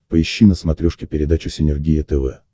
поищи на смотрешке передачу синергия тв